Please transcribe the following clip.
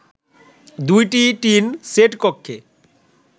দুইটি tin set কক্ষে